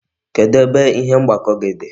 Kedu ebe ihe mgbakọ dị?